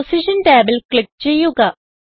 position ടാബിൽ click ചെയ്യുക